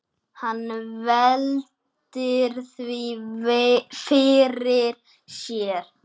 Hann veltir því fyrir sér.